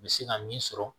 N bɛ se ka min sɔrɔ